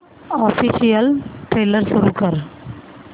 official trailer सुरू कर